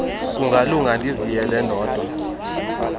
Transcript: kungalunga ndiziyele ndodwa